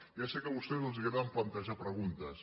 ja sé que a vostès els agrada plantejar preguntes